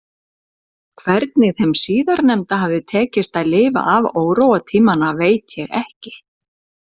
Hvernig þeim síðarnefnda hafði tekist að lifa af óróatímana veit ég ekki